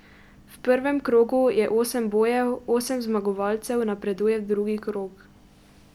V prvem krogu je osem bojev, osem zmagovalcev napreduje v drugi krog ...